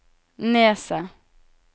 Nesset